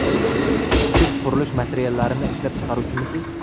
Siz qurilish materiallarini ishlab chiqaruvchimisiz?